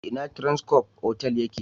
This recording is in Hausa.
Ina Transcorp otal ya ke?